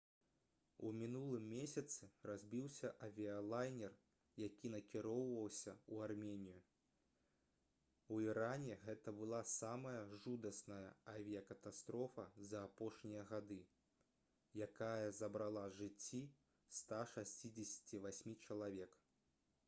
у мінулым месяцы разбіўся авіялайнер які накіроўваўся ў арменію у іране гэта была самая жудасная авіякатастрофа за апошнія гады якая забрала жыцці 168 чалавек